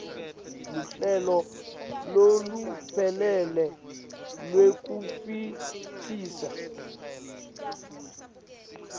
luhlelo loluphelele lwekutfutfukisa